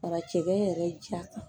Fara cɛkɛ yɛrɛ ja kan